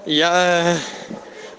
я